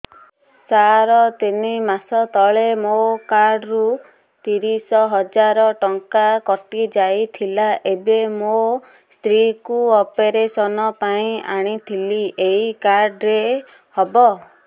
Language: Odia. ସାର ତିନି ମାସ ତଳେ ମୋ କାର୍ଡ ରୁ ତିରିଶ ହଜାର ଟଙ୍କା କଟିଯାଇଥିଲା ଏବେ ମୋ ସ୍ତ୍ରୀ କୁ ଅପେରସନ ପାଇଁ ଆଣିଥିଲି ଏଇ କାର୍ଡ ରେ ହବ